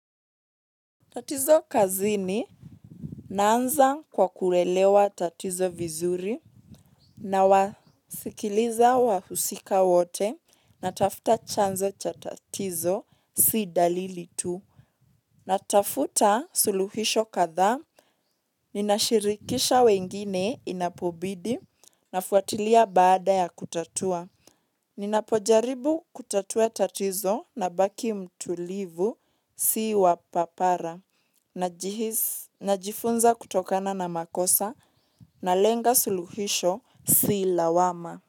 Tatizo kazini naanza kwa kuelewa tatizo vizuri nawasikiza wahusika wote natafuta chanzo cha tatizo si dalili tu natafuta suluhisho kadhaa nashirikisha wengine inapobidi nafuatilia baada ya kutatua. Ninapojaribu kutatua tatizo nabaki mtulivu sii wapapara na jifunza kutokana na makosa na lenga suluhisho si lawama.